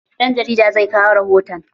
Ɗan jarida zai kawo rihoton